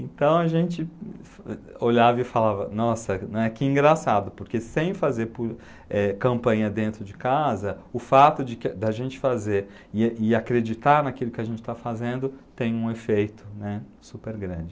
Então a gente olhava e falava, nossa, né, que engraçado, porque sem fazer po, eh, campanha dentro de casa, o fato de que de a gente fazer e acreditar naquilo que a gente está fazendo tem um efeito, né, super grande.